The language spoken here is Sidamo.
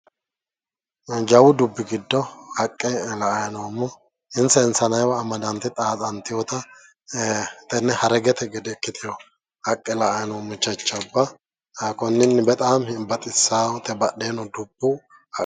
Jawu dubbi giddo haqqe la''ay noommo insa insaneewa amadante xaaxxanteewota tenne haregete gede ikkitewo haqqe la'ay noommo jajjabba konninni bexaami baxissate badheeno dubbu ...